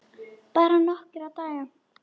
Bara nokkra daga.